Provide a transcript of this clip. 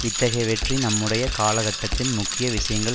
இத்தகைய வெற்றி நம்முடைய காலகட்டத்தின் முக்கிய விஷயங்கள்